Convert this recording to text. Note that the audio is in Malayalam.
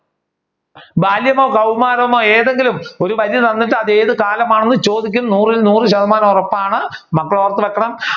ബാല്യമോ കൗമാരമോ ഏതെങ്കിലും ഒരു വഴി തന്നിട്ട് അത് ഏത് കാലമാണെന് ചോദിക്കും നൂറിൽ നൂർ ശതമാനവും ഉറപ്പാണ് മക്കൾ ഓർത്തു വെക്കണം